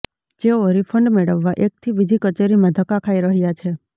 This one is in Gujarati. જેઓ રીફંડ મેળવવા એકથી બીજી કચેરીમાં ધક્કા ખાઈ રહ્યા છે